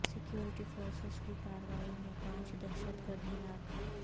security forces کی کارروائی میں پانچ دہشت گرد ہلاک